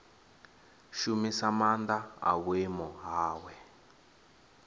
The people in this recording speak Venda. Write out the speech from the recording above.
shumisa maanḓa a vhuimo hawe